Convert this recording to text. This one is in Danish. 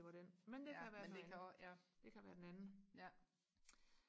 det var den men det kan være noget andet det kan være den anden